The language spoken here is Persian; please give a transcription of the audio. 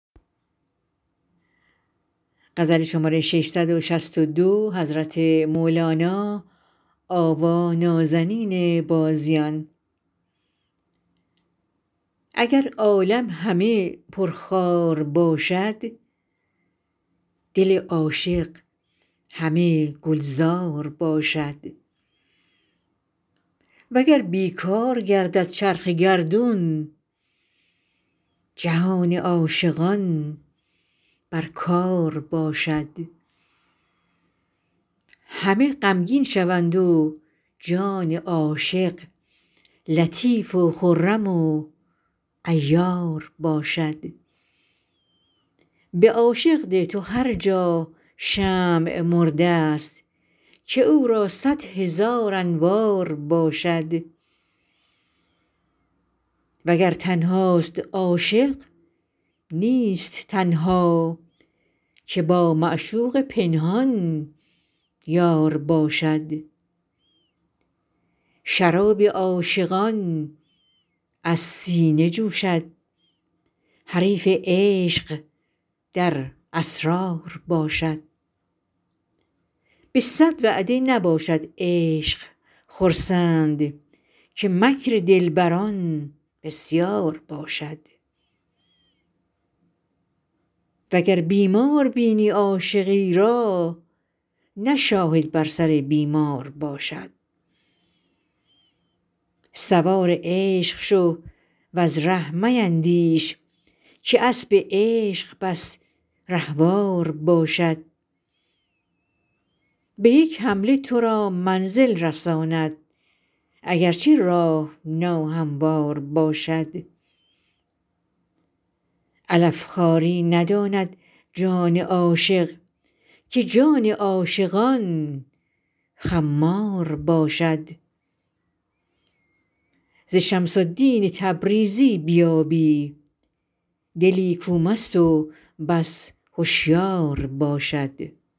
اگر عالم همه پرخار باشد دل عاشق همه گلزار باشد وگر بی کار گردد چرخ گردون جهان عاشقان بر کار باشد همه غمگین شوند و جان عاشق لطیف و خرم و عیار باشد به عاشق ده تو هر جا شمع مرده ست که او را صد هزار انوار باشد وگر تنهاست عاشق نیست تنها که با معشوق پنهان یار باشد شراب عاشقان از سینه جوشد حریف عشق در اسرار باشد به صد وعده نباشد عشق خرسند که مکر دلبران بسیار باشد وگر بیمار بینی عاشقی را نه شاهد بر سر بیمار باشد سوار عشق شو وز ره میندیش که اسب عشق بس رهوار باشد به یک حمله تو را منزل رساند اگر چه راه ناهموار باشد علف خواری نداند جان عاشق که جان عاشقان خمار باشد ز شمس الدین تبریزی بیابی دلی کو مست و بس هشیار باشد